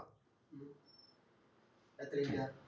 അതെത്ര mint ആ